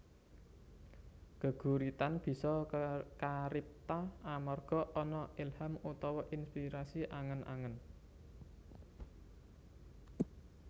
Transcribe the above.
Geguritan bisa karipta amarga ana ilham utawa inspirasi angen angen